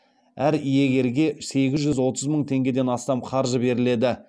әр иегерге сегіз жүз отыз мың теңгеден астам қаржы беріледі